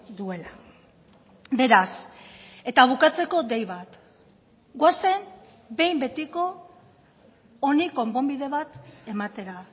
duela beraz eta bukatzeko dei bat goazen behin betiko honi konponbide bat ematera